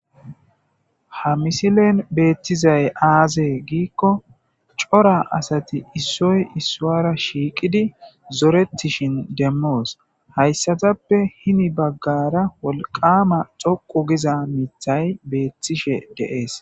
Ha misilen be'ettizay aaze giiko cora asati issoy issuwara shiiqidi zorettishen demmoos. Hayssatappeeka hini baggaara wolqqaama toqqu gezaa miita be'ettishe de'ees.